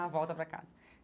Ah, volta para casa.